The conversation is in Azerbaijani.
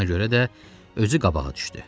Ona görə də özü qabağa düşdü.